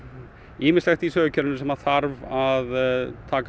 ýmislegt í Sögukerfinu sem þarf að taka